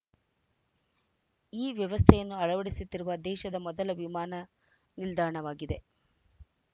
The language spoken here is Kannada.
ಈ ವ್ಯವಸ್ಥೆಯನ್ನು ಅಳವಡಿಸುತ್ತಿರುವ ದೇಶದ ಮೊದಲ ವಿಮಾನ ನಿಲ್ದಾಣವಾಗಿದೆ